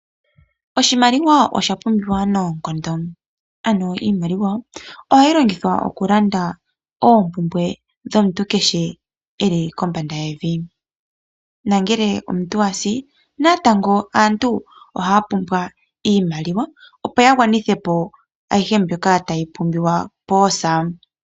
Oshimaliwa osha pumbiwa noonkondo ano iimaliwa ohayi longithwa oku landa oompumbwe dhomuntu kehe eli kombanda yevi. No ngele omuntu asi natango aantu ohaya pumbwa iimaliwa opo ya gwanithe ayihe mbyoka tayi pumbiwa poosa.